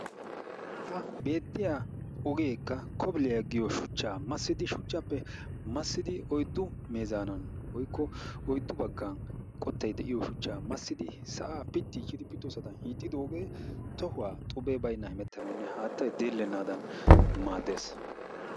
ha beettiyaa ogeekka kobiliyaa giyoo shuchchaa massidi shuchchappe massidi oyddu meezaanan woykko oyddu baggan qoottay de'iyoo shuchchaa massidi sa'aa piitichidi pittosaan hiixxidoogee tohuwaa xubee baynnan hemettanaw hattay deellenaadan maaddees.